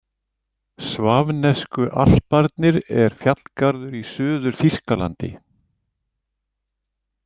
Svafnesku alparnir er fjallgarður í Suður-Þýskalandi.